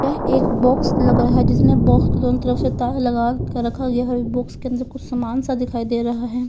यह एक बॉक्स लगा रहा है जिसमें बॉक्स के दोनों तरफ़ से ताला लगा के रखा गया है और बॉक्स के अंदर कुछ समान से दिखाई दे रहा है।